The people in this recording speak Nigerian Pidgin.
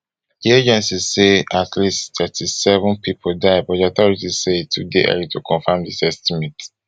aid agencies say at least thirty-seven pipo die but di authorities say e too dey early to confam dis estimate